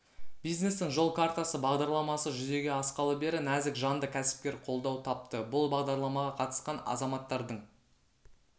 бизнестің жол картасы бағдарламасы жүзеге асқалы бері нәзік жанды кәсіпкер қолдау тапты бұл бағдарламаға қатысқан азаматтардың